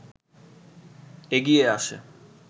এগিয়ে আসে